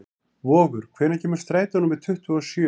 Vogur, hvenær kemur strætó númer tuttugu og sjö?